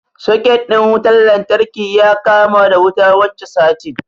Soket ɗin wutan lantarki ya kama da wuta wancan satin